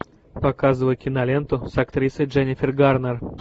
показывай киноленту с актрисой дженнифер гарнер